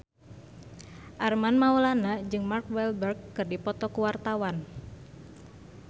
Armand Maulana jeung Mark Walberg keur dipoto ku wartawan